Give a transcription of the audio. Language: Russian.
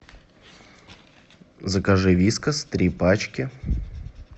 закажи вискас три пачки